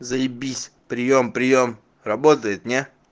заебись приём приём работает не